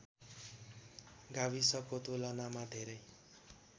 गाविसको तुलनामा धेरै